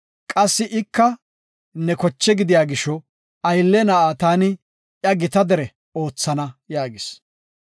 Qassi ika ne koche gidiya gisho aylle na7a taani iya gita dere oothana” yaagis.